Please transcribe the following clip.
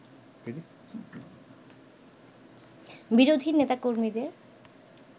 বিরোধী নেতা-কর্মীদের